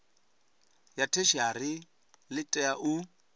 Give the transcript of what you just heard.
ya theshiari ḽi tea u